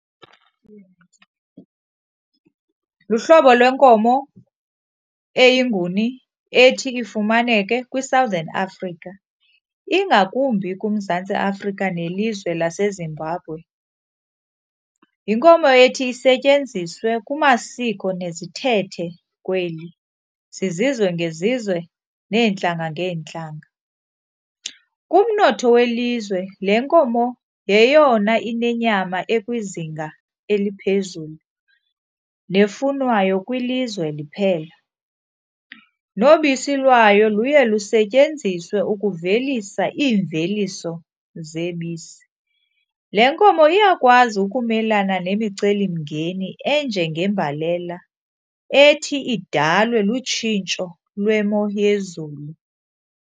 Luhlobo lwenkomo eyiNguni ethi ifumaneke kwiSouthern Africa, ingakumbi kuMzantsi Afrika nelizwe laseZimbabwe. Yinkomo ethi isetyenziswe kumasiko nezithethe kweli zizizwe ngezizwe neentlanga ngeentlanga. Kumnotho welizwe le nkomo yeyona inenyama ekwizinga eliphezulu nefunwayo kwilizwe liphela, nobisi lwayo luye lusetyenziswe ukuvelisa iimveliso zebisi. Le nkomo iyakwazi ukumelana nemicelimngeni enjengembalela ethi idalwe lutshintsho lwemo yezulu.